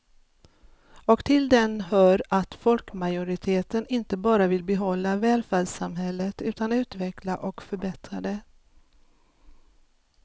Och till den hör att folkmajoriteten inte bara vill behålla välfärdssamhället utan utveckla och förbättra det.